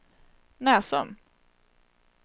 Näsum